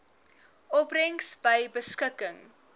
opbrengs by beskikking